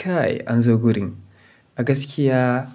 Kai an zo gurin. A gaskiya